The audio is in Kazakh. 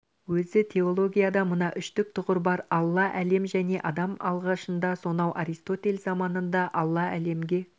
өзі теологияда мына үштік тұғыр бар алла әлем және адам алғашында сонау аристотель заманында алла әлемге